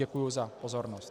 Děkuji za pozornost.